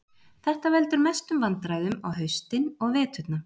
Þetta veldur mestum vandræðum á haustin og veturna.